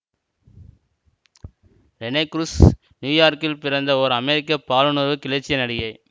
Rene Cruz நியூயார்க்கில் பிறந்த ஓர் அமெரிக்க பாலுணர்வு கிளர்ச்சிய நடிகை